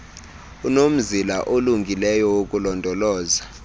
unomzila olungileyo wokulondoloza